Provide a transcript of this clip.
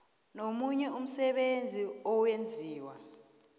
nomunye umsebenzi owenziwa